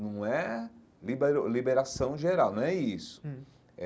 Não é liberação geral, não é isso hum.